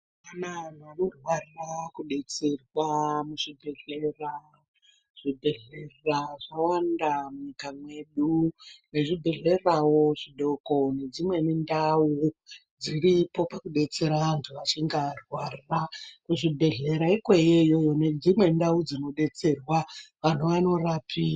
Mazuvaanya vantu vanofanira kudetserwa muzvibhedhlera ,zvibhedhlera zvawanda munyika mwedu nezvibhedhlerawo zvidoko nedzimweni ndau dziripo pakudetsera vantu vachinge varwara kuzvibhedhlera ikweyo iyoyo nedzimwe ndau dzinodetserwa vantu vanorapi .